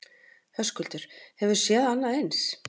Höskuldur: Hefurðu séð annað eins?